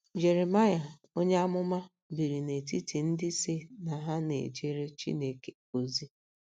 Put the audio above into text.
Jeremaịa onye amụma biri n'etiti ndị sị na ha na-ejere Chineke ozi.